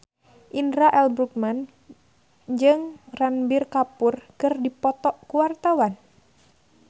Indra L. Bruggman jeung Ranbir Kapoor keur dipoto ku wartawan